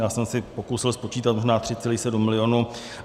Já jsem si pokusil spočítat, možná 3,7 milionu.